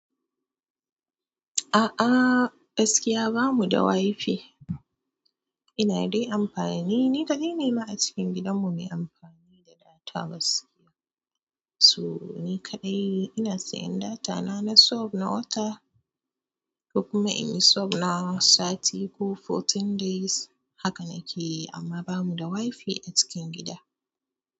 A'a gaskiya bamu da wifi. Ina dai amfani ni kaɗai ne ma a cikin gidan mu me amfani da data gaskiya. So ni kaɗai ina sayan data na sub na wata ko kuma in yi sub na sati ko fourteen days haka nake yi amma bamu da wifi a cikin gida.